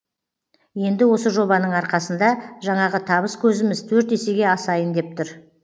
енді осы жобаның арқасында жаңағы табыс көзіміз төрт есеге асайын деп тұр